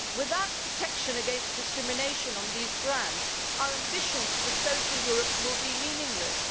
Without protection against discrimination on these grounds, our ambitions for a social Europe will be meaningless.